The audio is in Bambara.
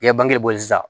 I ye bangebɔ sisan